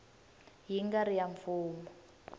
yi nga ri ya mfumo